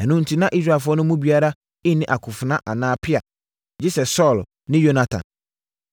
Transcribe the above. Ɛno enti na Israelfoɔ no mu biara nni akofena anaa pea, gye sɛ Saulo ne Yonatan.